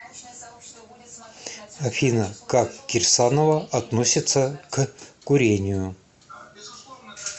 афина как кирсанова относиться к курению